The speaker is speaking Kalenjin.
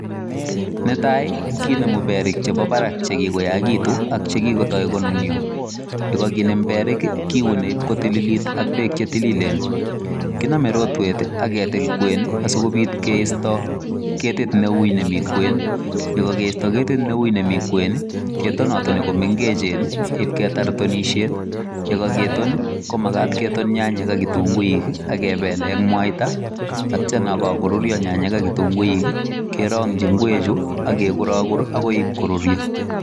Netai ii kinemuu beriik chetai ak chekikotoi konunia ye kakinem beriik kiunee ibaak kotililit ii ak beek che tilinlen kiname rotweet ii ak ketiik kween sikobiit keistaa ketit ne wui nemii kween ye kageistaa ketit ne wui nemii kween ii ketonatoni in ketaar tonisheet ye kagetoon ii komakat ketoon nyanyek ak kitunguuik ak kebel eng mwaita ak yeityaa kakoruria nyanyek ak kitunguuik ii kerangyiin ngweek chuu ii ak keguraguur agoibe korurya.